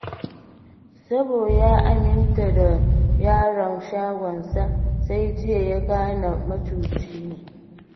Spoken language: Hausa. Sabo ya aminta da yaron shagonsa, sai jiya ya gane macuci ne.